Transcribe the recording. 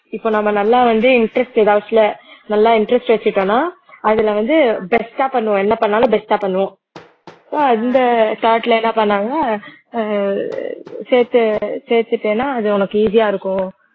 இப்ப நம்ம நல்லா வந்து interest நல்லா interest வச்சுட்டோம்ன்னா அதுல வந்து best ஆ பண்ணுவோம் என்ன பண்ணாலும் best ஆ பண்ணுவோம் இந்த thought ல என்ன பண்ணாங்க அஹ் சேத்து சேத்துட்டேன்னா அது உனக்கு easy யா இருக்கும்